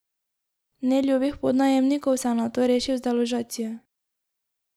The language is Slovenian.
Neljubih podnajemnikov se je nato rešil z deložacijo.